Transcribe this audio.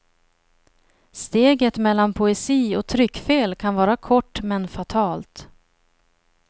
Steget mellan poesi och tryckfel kan vara kort men fatalt.